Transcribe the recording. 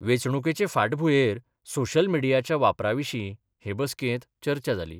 वेचणूकेचे फाटभुयेर सोशय मीडियाच्या वापराविशी हे बसकेत चर्चा जाली.